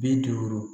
Bi duuru